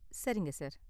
சரிங்க சார்.